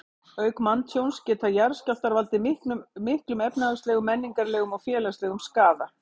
Auk manntjóns geta jarðskjálftar valdið miklum efnahagslegum, menningarlegum og félagslegum skaða.